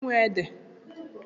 Kedụ onye nwe ede?